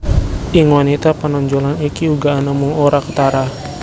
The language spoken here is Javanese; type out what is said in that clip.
Ing wanita panonjolan iki uga ana mung ora ketara